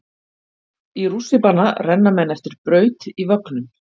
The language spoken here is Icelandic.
Í rússíbana renna menn eftir braut í vögnum.